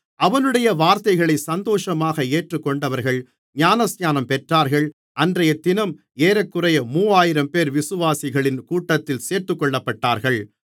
அவனுடைய வார்த்தைகளை சந்தோஷமாக ஏற்றுக்கொண்டவர்கள் ஞானஸ்நானம் பெற்றார்கள் அன்றையதினம் ஏறக்குறைய மூவாயிரம்பேர் விசுவாசிகளின் கூட்டத்தில் சேர்த்துக்கொள்ளப்பட்டார்கள்